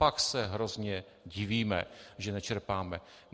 Pak se hrozně divíme, že nečerpáme.